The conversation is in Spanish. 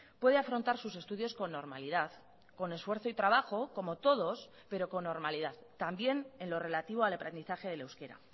puede afrontar sus estudios con normalidad con esfuerzo y trabajo como todos pero con normalidad también en lo relativo al aprendizaje del euskera